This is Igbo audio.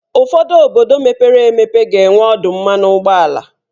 ụfọdụ obodo mepere emepe ga-enwe ọdụ mmanụ ụgbọala.